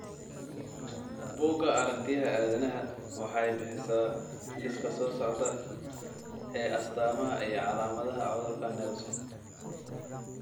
Bugga Aaragtiyaha Aadanaha waxay bixisaa liiska soo socda ee astamaha iyo calaamadaha cudurka Nelson .